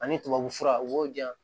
Ani tubabu fura u b'o di yan